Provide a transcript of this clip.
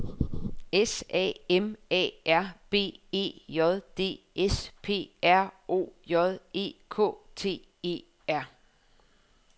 S A M A R B E J D S P R O J E K T E R